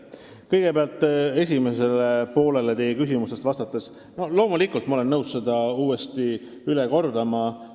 Kõigepealt, vastates teie küsimuse esimesele poolele, ma olen loomulikult nõus uuesti üle kordama.